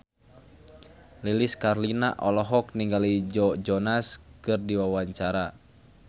Lilis Karlina olohok ningali Joe Jonas keur diwawancara